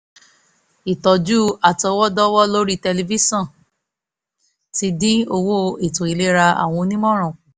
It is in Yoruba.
ìtọ́jú àtọwọ́dọ́wọ́ látorí tẹlifíṣọ̀n ti dín owó ètò ìlera àwọn onímọ̀ràn kù